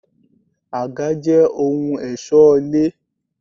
Àga jẹ́ ohun ẹ̀ṣọ́ ilé.